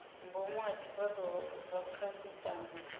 ngomu ha zwifhato zwa khasitama